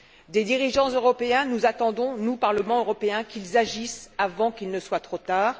Des dirigeants européens, nous attendons, nous Parlement européen, qu'ils agissent avant qu'il ne soit trop tard.